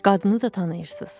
Qadını da tanıyırsınız.